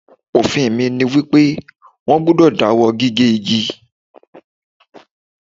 Òfin mi ni wípé, wón gbúdọ̀ dáwọ́ gígé igi.